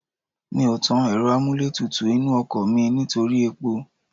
Mi ò tàn ẹ̀rọ amúlétutù inú ọkọ̀ mi nítorí epo